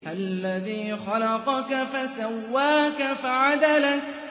الَّذِي خَلَقَكَ فَسَوَّاكَ فَعَدَلَكَ